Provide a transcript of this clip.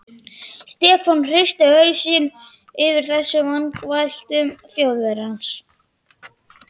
Stefán hristi hausinn yfir þessum vangaveltum Þjóðverjans.